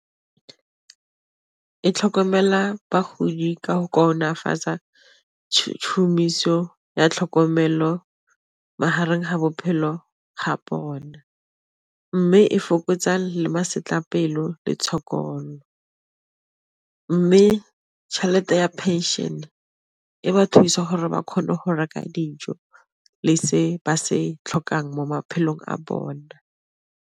E tlhokomela bagodi ka go kaonafatsa ya tlhokomelo magareng ga bophelo ga bona, mme e fokotsa le masetlapelo le tshokolo, mme tšhelete ya pension e ba thusa gore ba kgone go reka dijo le se ba se tlhokang mo maphelong a bone.